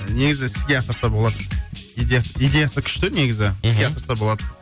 негізі іске асырса болады идеясы идеясы күшті негізі мхм іске асырса болады